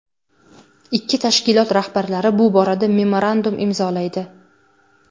Ikki tashkilot rahbarlari bu borada memorandum imzolaydi.